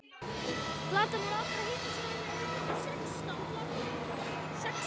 Flatarmál allra háhitasvæðanna er um það bil sexfalt flatarmál